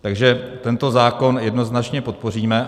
Takže tento zákon jednoznačně podpoříme.